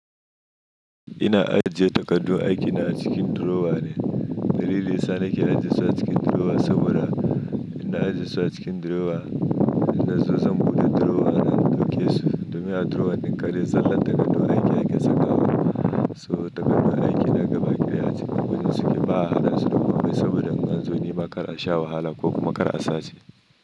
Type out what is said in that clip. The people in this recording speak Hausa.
Ina ajiye takardun aiki na a cikin drawer ne. Dalili yasa na ke ajiye su a cikin drawer saboda in na ajiye su a cikin drawer, in nazo zan buɗe drawer na dauke su. Domin a drawer ɗin kadai zallar takardu aikin ake sakawa so. Takardun aiki ne gaba ɗaya a ciki gurun suke ba haɗasu da kome saboda in anzo nema kar a sha wahala ko kuma kar a sace.